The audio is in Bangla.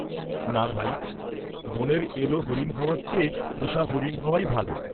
না, ভাই, বনের এলো হরিণ হওয়ার চেয়ে পোষা হরিণ হওয়াই ভাল।